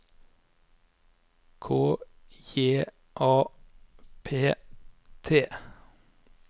K J A P T